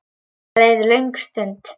Það leið löng stund.